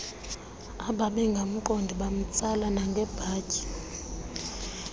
ababengamqondi bamtsala nangebhatyi